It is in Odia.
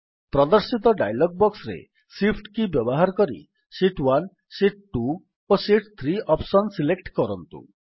ପ୍ରଦର୍ଶିତ ଡାୟଲଗ୍ ବକ୍ସରେ ଶିଫ୍ଟ କୀ ବ୍ୟବହାର କରି ଶୀତ୍ 1 ଶୀତ୍ 2 ଓ ଶୀତ୍ 3 ଅପ୍ସନ୍ ସିଲେକ୍ଟ କରନ୍ତୁ